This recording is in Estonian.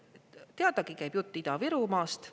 Teadagi käib jutt Ida-Virumaast.